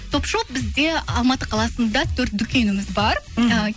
топ шоп бізде алматы қаласында төрт дүкеніміз бар мхм